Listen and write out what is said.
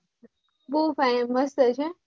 બઉ Fine મસ્ત છે